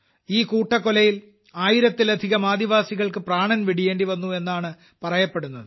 ഈ കൂട്ടക്കൊലയിൽ ആയിരത്തിലധികം ആദിവാസികൾക്ക് പ്രാണൻ വെടിയേണ്ടിവന്നു എന്നതാണ് പറയപ്പെടുന്നത്